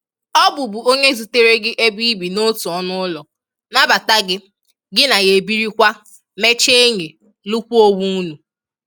Ọ bụ bụ onye zutere gị ebe ibi n'otu ọnụ ụlọ, nabata gị, gị na ya ebirikwa, mecha enyi, lụkwa onwe ụnụ